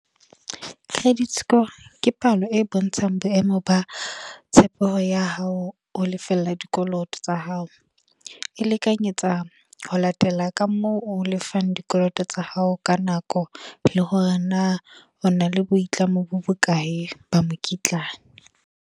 Credit score. Ke palo e bontshang boemo ba tshepo ya hao, ho lefella dikoloto tsa hao. E lekanyetsa ho latela ka moo o lefang dikoloto tsa hao ka nako. Le hore na o na le boitlamo bo bokae ba mokitlane.